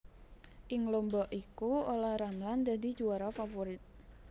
Ing lomba iku Ola Ramlan dadi juwara favorit